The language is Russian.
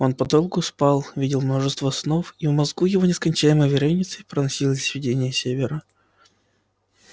он подолгу спал видел множество снов и в мозгу его нескончаемой вереницей проносились видения севера